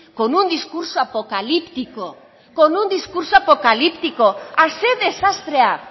con un discurso apocalíptico con un discurso apocalíptico ah ze desastrea